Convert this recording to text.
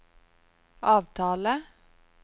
avtale